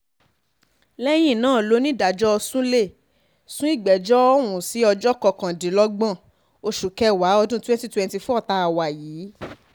lẹ́yìn náà lonídàájọ́ sulé sún ìgbẹ́jọ́ ọ̀hún sí ọjọ́ kọkàndínlọ́gbọ̀n oṣù kẹwàá ọdún twenty twenty four tá a wà yìí